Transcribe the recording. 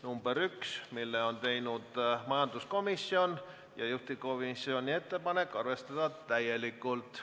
Esimese muudatusettepaneku on teinud majanduskomisjon, juhtivkomisjoni ettepanek on arvestada seda täielikult.